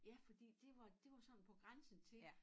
Ja fordi det var det var sådan på grænsen til